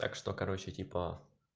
так что короче типа